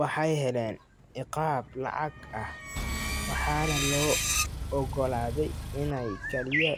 Waxay heleen ciqaab lacag ah, waxaana loo oggolaaday inay kaliya